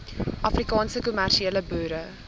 afrikaanse kommersiële boere